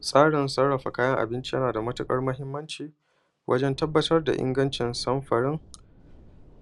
Tsarin sarafa kayan abinci na da matuƙar muhimci wajen tabattar da ingancin sanfari,